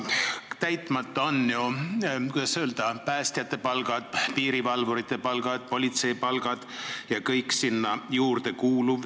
Täitmata on lubadus tõsta päästjate palka, piirivalvurite palka, politseinike palka.